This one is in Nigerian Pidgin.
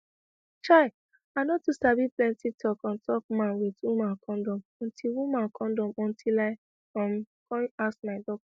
chai i no too sabi plenty talk on top man with woman kondom until woman kondom until i um come ask my doc